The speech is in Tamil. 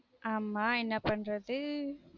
ஆமா என்ன பண்றது